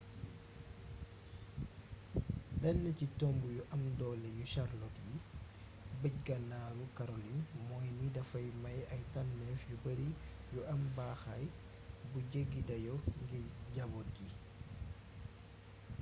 benn ci tomb yu am doole yu charlotte ci bëj-ganaaru karolin mooy ni dafay maye ay tànnéef yu bari yu am baaxaay bu jeggi dayo ngir jabóot yi